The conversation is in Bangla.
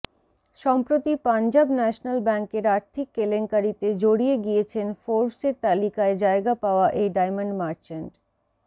সম্প্রতি পাঞ্জাব ন্যাশনাল ব্যাংকের আর্থিক কেলেঙ্কারিতে জড়িয়ে গিয়েছেন ফোর্বসের তালিকায় জায়গা পাওয়া এই ডায়মন্ড মার্চেন্ট